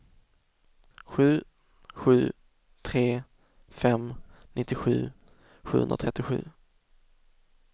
sju sju tre fem nittiosju sjuhundratrettiosju